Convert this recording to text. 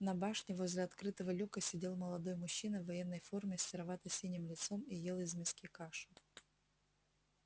на башне возле открытого люка сидел молодой мужчина в военной форме с серовато-синим лицом и ел из миски кашу